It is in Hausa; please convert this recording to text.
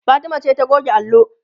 Fatima ce ta goge allo